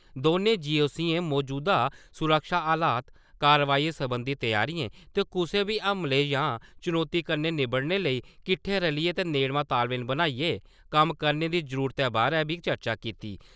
दौनें जी.ओ.सी. मजूदा सुरक्षा हालात , कारवाही सरबंधी त्यारिएं ते कुसै बी हमले जां चुनौती कन्नै निबड़ने लेई किट्ठे रलियै ते नेड़मा तालमेल बनाइयै कम्म करने दी जरुरतै बारै बी चर्चा कीती ।